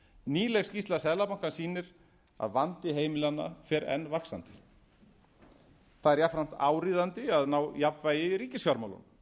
nýleg skýrsla seðlabankans sýnir að vandi heimilanna fer enn vaxandi það er jafnframt áríðandi að ná jafnvægi í ríkisfjármálum